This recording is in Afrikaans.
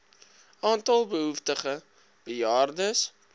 aantal behoeftige bejaardes